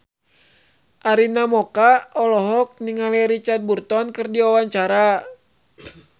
Arina Mocca olohok ningali Richard Burton keur diwawancara